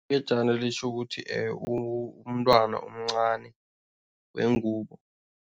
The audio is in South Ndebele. Ngejana litjho ukuthi umntwana omncani wengubo.